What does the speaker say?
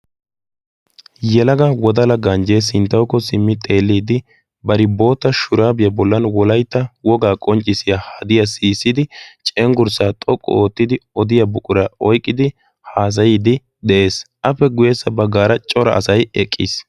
yalaga wodala ganjjee sinttawuko simmi xeelliidi bari boota shuraabiyaa bollan wolaytta wogaa qonccissiya hadiyaa siyisidi cenggurssaa xoqqu oottidi odiya buqura oyqqidi haassayiidi de7ees appe guyessa baggaara cora asay eqqiis